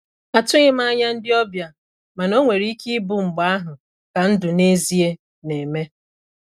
Atụghị m anya ndị ọbịa, mana o nwere ike ịbụ mgbe ahụ ka ndụ n'ezie na eme.